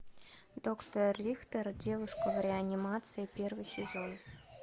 доктор рихтер девушка в реанимации первый сезон